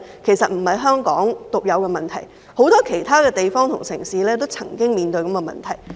其實這不是香港獨有的問題，很多其他地方和城市亦曾經面對這個問題。